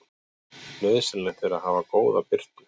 Nauðsynlegt er að hafa góða birtu.